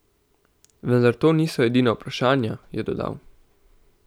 Vendar to niso edina vprašanja, je dodal.